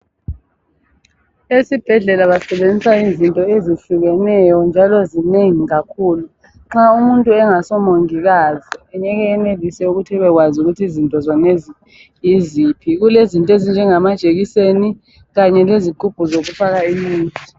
Esibhedlela basebenzisa izinto ezehlukeneyo njalo zinengi kakhulu. Nxa umuntu engaso mongikazi engeke enelise ukuthi ebekwazi ukuthi izinto zonezi yiziphi. Kulezinto ezinjengamajekiseni kanye lezigubhu zokufaka imithi.